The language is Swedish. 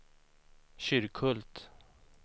Kyrkhult